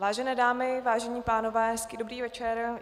Vážené dámy, vážení pánové, hezký dobrý večer.